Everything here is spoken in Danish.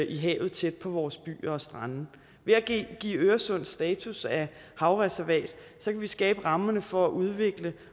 i havet tæt på vores byer og strande ved at give øresund status af havreservat kan vi skabe rammerne for at udvikle